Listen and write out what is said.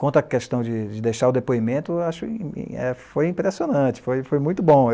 Quanto à questão de deixar o depoimento, foi impressionante, foi muito bom.